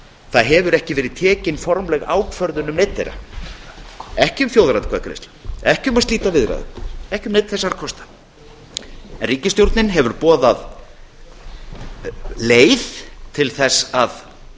það hefur ekki verið tekin formleg ákvörðun um neinn þeirra ekki um þjóðaratkvæðagreiðslu ekki um að slíta viðræðum ekki um neinn þessara kosta en ríkisstjórnin hefur boðað leið